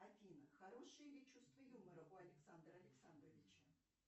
афина хорошее ли чувство юмора у александра александровича